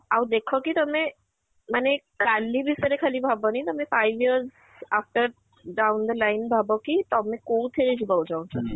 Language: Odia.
ଆଉ ଦେଖ କି ତମେ ମାନେ କାଲି ଭିତରେ ରେ ଖାଲି ଭାବନି ମାନେ five years after down the line ଭାବ କି ତମେ କୋଉଥିରେ ଯିବାକୁ ଚାହୁଁଛ ?